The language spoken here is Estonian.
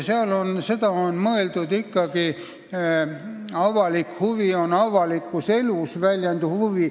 Siin on mõeldud avalikku huvi, avalikus elus väljenduvat huvi.